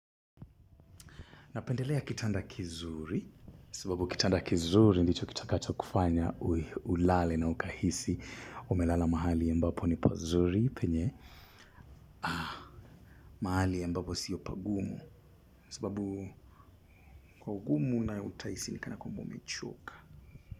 Napendelea kitanda kizuri, sababu kitanda kizuri ndicho kitakacho kufanya ulale na ukahisi. Umelala mahali ambapo ni pazuri penye. Ah, mahali ambapo siyo pagumu, sababu kwa ugumu na utahisi ni kana kwamba umechoka.